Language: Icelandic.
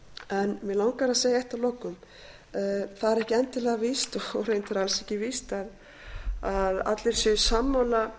en mig langar að segja eitt að lokum það er ekki endilega víst og reyndar alls ekki víst að allir séu sammála